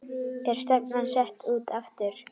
Er stefnan sett út aftur?